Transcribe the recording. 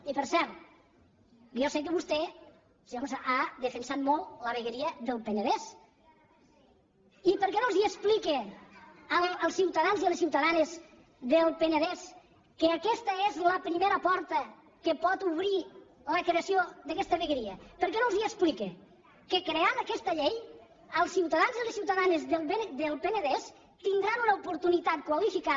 i per cert jo sé que vostè senyora montserrat ha defensat molt la vegueria del penedès i per què no els explica als ciutadans i a les ciutadanes del penedès que aquesta és la primera porta que pot obrir la creació d’aquesta vegueria per què no els explica que creant aquesta llei els ciutadans i les ciutadanes del penedès tindran una oportunitat qualificada